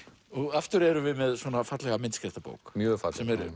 aftur erum við með svona fallega myndskreytta bók mjög fallega